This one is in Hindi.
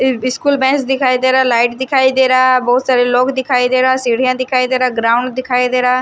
स्कूल बैच दिखाई दे रहा है लाइट दिखाई दे रहा बहोत सारे लोग दिखाई दे रहा है सीढ़ियां दिखाई दे रहा ग्राउंड दिखाई दे रहा--